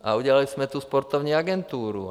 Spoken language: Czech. A udělali jsme tu sportovní agenturu.